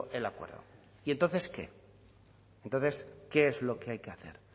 el acuerdo y entonces qué entonces qué es lo que hay que hacer